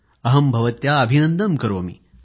अहं भवत्याः अभिनन्दनं करोमि